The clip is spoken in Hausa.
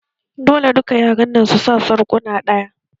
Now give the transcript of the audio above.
Dole duka yaran nan su sa sarƙuna ɗaya!